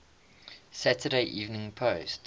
saturday evening post